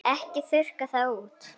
Ekki þurrka það út.